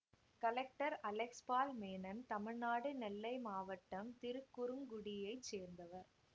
collector Alex Paul Menon Tamil Nadu Nellai மாவட்டம் திருக்குறுங்குடியைச் சேர்ந்தவர்